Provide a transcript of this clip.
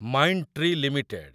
Mindtree limited